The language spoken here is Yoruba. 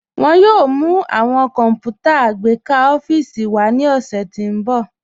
Wọn yòò mú awọn kọ́nputà agbẹkà ọ̀fíìsì wá ni ọṣẹ̀ tí n bọ̀.